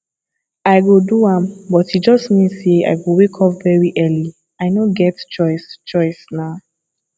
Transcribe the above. i go do am but e just mean say i go wake up very early i no get choice choice nah